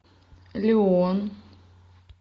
лион